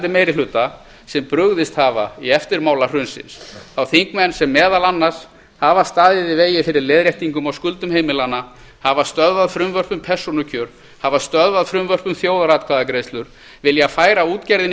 meirihluta sem brugðist hafa í eftirmála hrunsins þá þingmenn sem meðal annars hafa staðið í vegi fyrir leiðréttingum á skuldum heimilanna hafa stöðvað frumvörp um persónukjör hafa stöðvað frumvörp um þjóðaratkvæðagreiðslur vilja færa útgerðinni